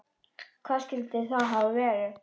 Hvað skyldi það hafa verið?